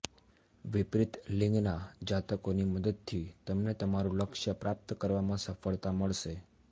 વિપરીત લિંગના જાતકોની મદદથી તમને તમારુ લક્ષ્ય પ્રાપ્ત કરવામાં સફળતા મળશે